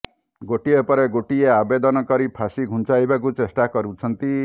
ଗୋଟିଏ ପରେ ଗୋଟିଏ ଆବେଦନ କରି ଫାଶୀ ଘୁଞ୍ଚାଇବାକୁ ଚେଷ୍ଟା କରୁଛନ୍ତି